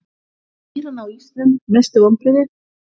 Vinna Írana á ísnum Mestu vonbrigði?